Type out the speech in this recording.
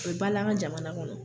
O bi ba la an ka jamana kɔnɔ.